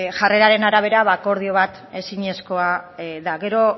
jarreraren arabera ba akordio bat ezinezkoa da gero